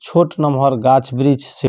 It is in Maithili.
छोट नमहर गाछ-वृक्ष छै।